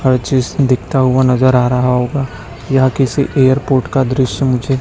हर चीज दिखता हुआ नजर आ रहा होगा यह किसी एयरपोर्ट का दृश्य मुझे--